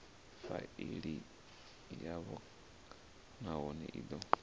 faili yavho nahone i do